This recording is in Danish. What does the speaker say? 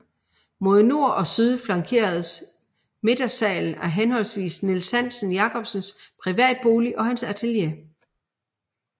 Mod nord og syd flankeredes midtersalen af henholdsvis Niels Hansen Jacobsens privatbolig og hans atelier